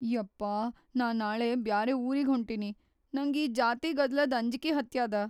ಯಪ್ಪಾ ನಾ ನಾಳೆ ಬ್ಯಾರೆ ಊರಿಗ್‌ ಹೊಂಟಿನಿ, ನಂಗ್‌ ಈ ಜಾತಿ ಗದ್ದಲದ್‌ ಅಂಜಿಕಿ ಹತ್ಯಾದ.